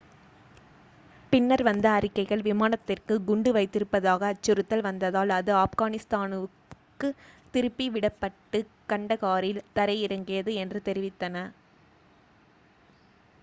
பின்னர் வந்த அறிக்கைகள் விமானத்திற்கு குண்டு வைத்திருப்பதாக அச்சுறுத்தல் வந்ததால் அது ஆப்கானிஸ்தானுக்குத் திருப்பி விடப்பட்டு கண்டகாரில் தரை இறங்கியது என்று தெரிவித்தன